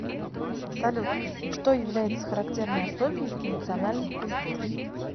салют что является характерной особенностью национальных культур